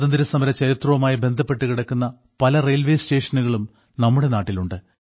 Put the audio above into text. സ്വാതന്ത്ര്യസമര ചരിത്രവുമായി ബന്ധപ്പെട്ടു കിടക്കുന്ന പല റെയിൽവേ സ്റ്റേഷനുകളും നമ്മുടെ നാട്ടിലുണ്ട്